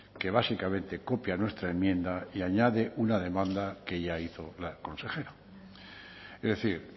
que básicamente copia nuestra enmienda y añade una demanda que ya hizo la consejera es decir